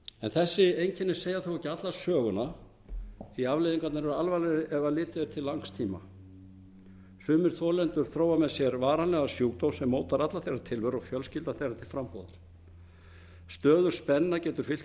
þessi einkenni segja þó ekki alla söguna því að afleiðingarnar eru alvarlegri ef litið er til langs tíma sumir þolendur þróa með sér varanlegan sjúkdóm sem mótar alla þeirra tilveru og fjölskyldna þeirra til frambúðar stöðug spenna getur fylgt í